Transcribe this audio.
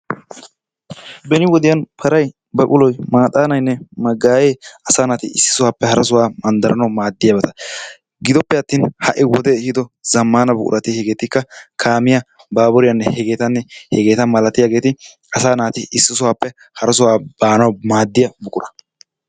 Benni wodiyanni paray, baquloy, maxanaynne magayee issi sohuwappe hara sohuwaa mandaranawu madiyabatta. gidoppee attin ha'i wodee ehido zamana buquratti hegettika, kamiyaa, baburiyanne, heganne hegetta malatiyaa asa nati issi sohuwappe hara sohuwaa banawu madiya buquraa.